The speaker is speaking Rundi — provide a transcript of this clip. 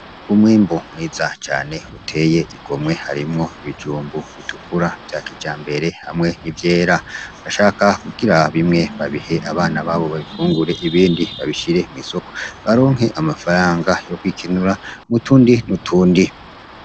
Umwimbu mwiza cane uteye igomwe harimwo ibijumbu bitukura vya kijambere hamwe n’ivyera , bashaka kugira bimwe babihe abana babo babifungure, ibindi babishire mw’isoko baronke amafaranga yo kwikenura n’utundi n’utundi .